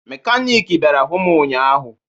Mekaniiki bịara hụ m ụnyaahụ